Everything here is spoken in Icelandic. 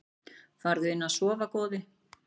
Farðu inn að sofa góði.